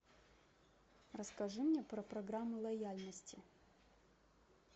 расскажи мне про программу лояльности